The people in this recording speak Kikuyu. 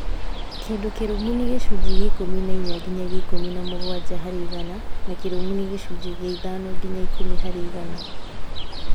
Kĩndũ kĩrũmu nĩ gĩcunjĩ gĩa ikũmi na inya nginya ikũmi na mũgwanja harĩ igana na kĩrũmu nĩ gĩcunjĩ gĩa ithano nginya ikũmi harĩ igana